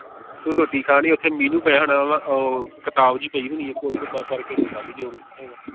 ਤੂੰ ਰੋਟੀ ਕਹਾਣੀ ਓਥੇ menu ਪਿਆ ਹੋਣਾ ਵਾ ਉਹ ਕਿਤਾਬ ਝੀ ਪਈ ਹੋਣੀ ਇਕ ਓਥੇ ਬਸ ਪੜ੍ਹ ਕੇ ਮੰਗਾਲੀ ਜੋ ਮੰਗਾਉਣਾ ਹੋਇਆ।